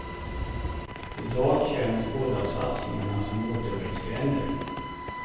I dag känns båda satsningarna som återvändsgränder.